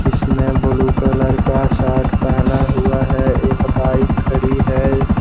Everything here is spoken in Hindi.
इसने ब्लू कलर का शर्ट पहना हुआ है। एक बाइक खड़ी है।